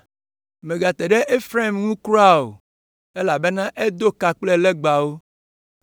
Mègate ɖe Efraim ŋu kura o, elabena edo ka kple legbawo.